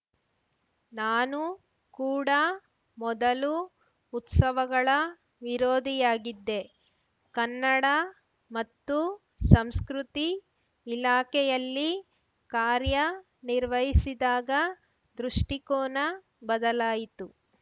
ನಾನೂ ಕೂಡ ಮೊದಲು ಉತ್ಸವಗಳ ವಿರೋಧಿಯಾಗಿದ್ದೆ ಕನ್ನಡ ಮತ್ತು ಸಂಸ್ಕೃತಿ ಇಲಾಖೆಯಲ್ಲಿ ಕಾರ್ಯ ನಿರ್ವಹಿಸಿದಾಗ ದೃಷ್ಟಿಕೋನ ಬದಲಾಯಿತು